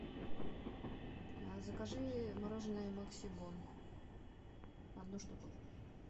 закажи мороженое максибон одну штуку